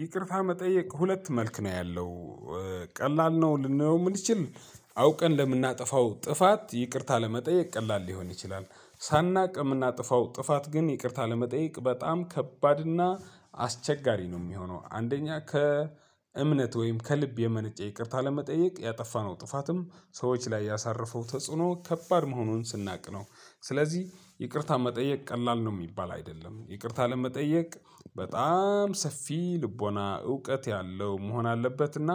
ይቅርታ መጠየቅ ሁለት መልክ ነው ያለው። ቀላል ነው ልንለው የምንችል አውቀን ለምናጠፋው ጥፋት ይቅርታ ለመጠየቅ ቀላል ሊሆን ይችላል። ሳናውቅ የምናጠፋው ጥፋት ግን ይቅርታ ለመጠየቅ በጣም ከባድና አስቸጋሪ ነው የሚሆነው አንደኛ ከእምነት ወይም ከልብ የመነጨ ይቅርታ ለመጠየቅ ያጠፋነው ጥፋትም ሰዎች ላይ ያሳረፈው ተጽዕኖ ከባድ መሆኑን ስናውቅ ነው። ስለዚህ ይቅርታ መጠየቅ ቀላል ነው የሚባል አይደለም ይቅርታ ለመጠየቅ በጣም ሰፊ ልቦና እውቀት ያለው መሆን አለበትና